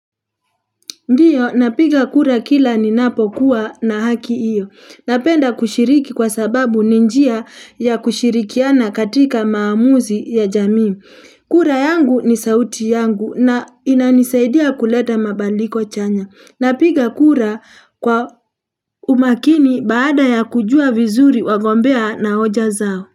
Ndiyo, napiga kura kila ninapo kuwa na haki iyo. Napenda kushiriki kwa sababu ninjia ya kushirikiana katika maamuzi ya jamii. Kura yangu ni sauti yangu na inanisaidia kuleta mabaliko chanya. Napiga kura kwa umakini baada ya kujua vizuri wagombea na hoja zao.